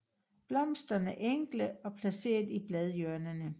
Blomsterne enkle og placeret i bladhjørnerne